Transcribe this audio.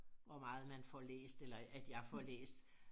Hvor meget man får læst eller at jeg får læst